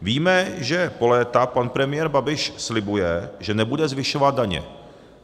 Víme, že po léta pan premiér Babiš slibuje, že nebude zvyšovat daně.